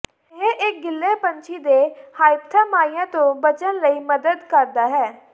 ਇਹ ਇੱਕ ਗਿੱਲੇ ਪੰਛੀ ਦੇ ਹਾਈਪਥਾਮਾਈਆ ਤੋਂ ਬਚਣ ਲਈ ਮਦਦ ਕਰਦਾ ਹੈ